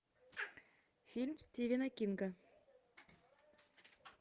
фильм стивена кинга